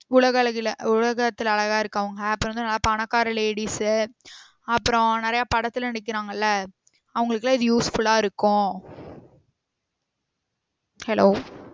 உலக அழகில உலகத்துல அழகா இருக்றவங்க அப்ரோ வந்து நல்ல பணக்கார ladies உ அப்ரோ நெறைய படத்துல நடிக்ராங்கள்ள அவங்களுக்குலாம் இது useful ஆ இருக்கும் hello